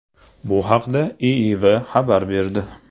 Bu haqda IIV xabar berdi .